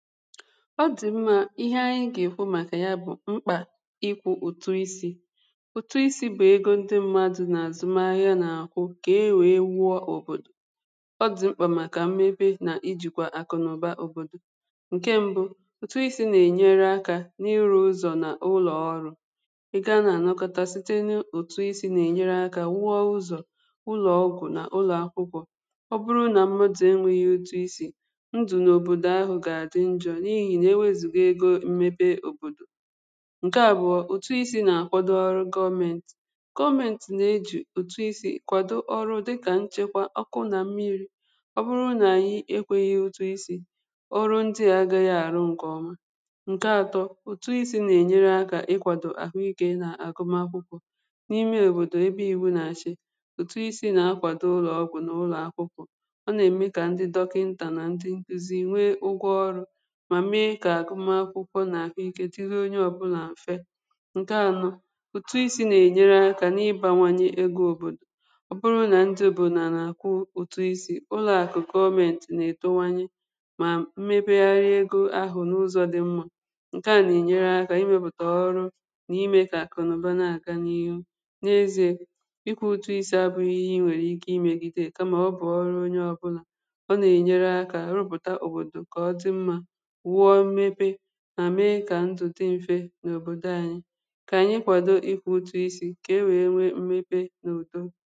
ọ dị mma ihe anyị ga-ekwu maka ya bụ̀ mkpà ịkwụ̇ ụtụ isi̇ ego ndị mmadụ̀ n’azụmahịa na-akwụ̇ ka e wee wụọ̇ òbòdò ọ dị mkpà maka mmebe na ijikwa akụnaụba òbòdò nke mbụ̇ ụtụ isi̇ na-enyere akȧ n’iru ụzọ̀ na ụlọ̀ọrụ̇ ịga na-anọkọta site n’ụ̀tụ isi̇ na-enyere akȧ wụọ ụzọ̀ ụlọ̀ọgwụ̀ na ụlọ̀akwụkwọ̇ ọ bụrụ na mmụdụ̀ enwėghi̇ ụtụ isi̇ n’ihi na eweziga ego mmepe òbòdò ǹke àbụọ ùtụ isi̇ nà-àkwado ọrụ gọmentì gọmentì nà-ejù òtụ isi̇ kwàdụ ọrụ̇ dịkà nchekwa ọkụ nà mmiri ọ bụrụ nà ànyị ekwėghi̇ òtụ isi̇ ọrụ ndị à agȧghị àrụ ǹkè ọma ǹke atọ òtụ isi̇ nà-ènyere akȧ ikwàdò àhụikė nà àgụm akwụkwọ n’ime òbòdò ebe ìwu nà-achị̇ òtụ isi̇ nà-akwàdụ ụlọ̀ọgwụ̀ nà ụlọ̀akwụkwọ ọ nà-ème kà ndị dọkịntà nà ndị nkụzị nwe ụgwọ ọrụ̇ mà mee kà akụmakwụkwọ nà àhụ ikė tụrụ onye ọbụlà m̀fe ǹke anọ̇ ụ̀tụ isi̇ nà-ènyere akȧ n’ịbȧwȧnyi̇ egȯ òbòdò ọ bụrụ nà ndụ̀ bụ̀ nà nà-àkwụ ụ̀tụ isi̇ ụlọ̀ àkụ̀ gọment nà-ètowanye mà mmepegharị egȯ ahụ̀ n’ụzọ̇ dị mmȧ ǹke à nà-ènyere akȧ imėbùtà ọrụ nà ime kà àkụnụ̀ba nà àka n’ihu n’ezi̇ė ịkwȧ ụtụ isi̇ abụ̇ ihe ịnwèrè ike imėgide kamà ọ bụ̀ ọrụ onye ọbụlà ọ nà-ènyere akȧ rụpụ̀ta òbòdò kà ọ dị mmȧ wụọ̇ mmepe na mee ka ntùtù dị mfe n’òbòdò anyị ka anyị kwado ịkwụ ụtụ isi ka e wee nwe mmepe n’ùto